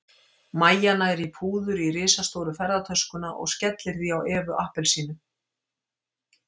Mæja nær í púður í risastóru ferðatöskuna og skellir því á Evu appelsínu.